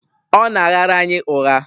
Ọ na-aghara anyị ụgha?